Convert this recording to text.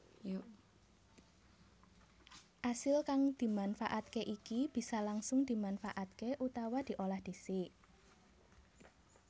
Asil kang dimanfaatke iki bisa langsung dimanfaatké utawa diolah dhisik